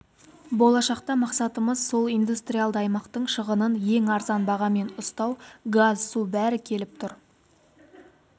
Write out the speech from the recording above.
болашақта мақсатымыз сол индустриалды аймақтың шығынын ең арзан бағамен ұстау газ су бәрі келіп тұр